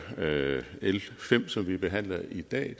l fem som vi behandler i dag